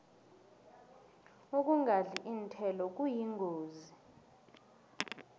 ukungadli iinthelo kuyingozi